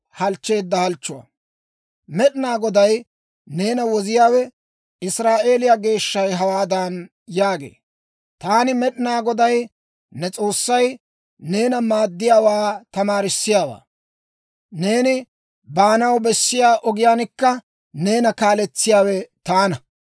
Med'inaa Goday, neena Woziyaawe, Israa'eeliyaa Geeshshay hawaadan yaagee; «Taani Med'inaa Goday, ne S'oossay, neena maaddiyaawaa tamaarissiyaawaa. Neeni baanaw bessiyaa ogiyaankka neena kaaletsiyaawe taana.